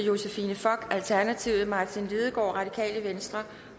josephine fock martin lidegaard